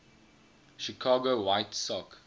chicago white sox